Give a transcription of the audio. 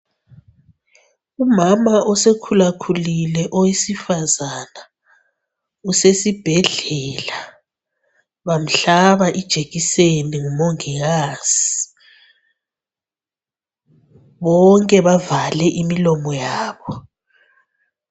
Umama usekhula khulile owesifazana usesibhedlela bamhlaba ijekiseni ngumongikazi bonke bavale imilomo yabo.